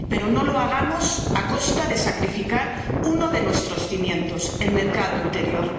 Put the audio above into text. Pero no lo hagamos a costa de sacrificar uno de nuestros cimientos el mercado interior.